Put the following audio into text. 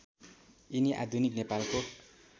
यिनी आधुनिक नेपालको